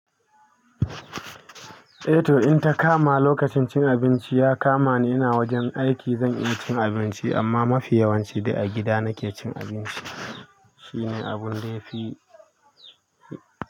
Eh to in ta kama lokacin cin abinci ya kamani ina wajen aiki zan iya cin abinci amma mafi yawanci dai a gida nake cin abinci. Shine abun da yafi.